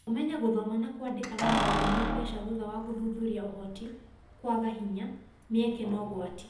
Kũmenya gũthoma na kwandĩka na maũndũ ma mbeca thutha wa gũthuthuria Ũhoti, kwaga hinya, mĩeke, na ũgwati